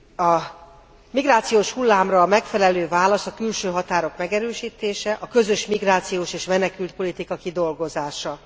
A migrációs hullámra a megfelelő válasz a külső határok megerősítése, a közös migrációs és menekültpolitika kidolgozása.